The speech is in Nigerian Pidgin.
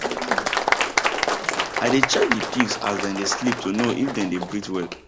i dey check the pigs as dem dey sleep to know if dem dey breathe well